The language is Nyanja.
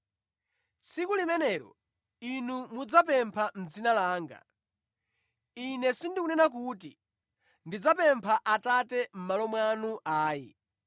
Tsiku limenelo inu mudzapempha mʼdzina langa. Ine sindikunena kuti ndidzapempha Atate mʼmalo mwanu ayi.